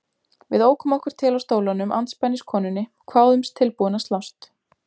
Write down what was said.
Við ókum okkur til á stólunum andspænis konunni, kváðumst tilbúin að slást.